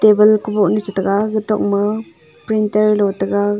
table kuboh nu chitaiga kutok ma printer lo taiga.